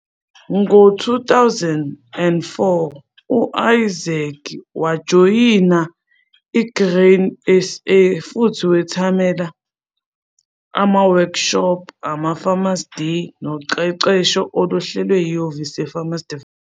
Ngo-2004 u-Isaac wajoyina i-Grain SA futhi wethamela ama-workshop, ama-farmer days noqeqesho oluhlelwe yihhovisi le-Farmer Development.